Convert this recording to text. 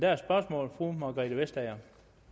er et spørgsmål fru margrethe vestager